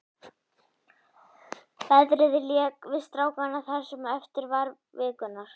Veðrið lék við strákana það sem eftir var vikunnar.